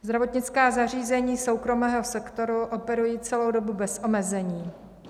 Zdravotnická zařízení soukromého sektoru operují celou dobu bez omezení.